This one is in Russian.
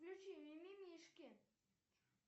включи мимимишки